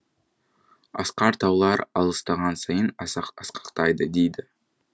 асқар таулар алыстаған сайын асқақтайды дейді